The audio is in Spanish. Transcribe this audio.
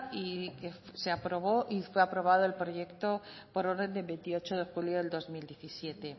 y fue aprobado el proyecto por orden de veintiocho de julio de dos mil diecisiete